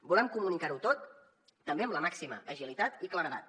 volem comunicar ho tot també amb la màxima agilitat i claredat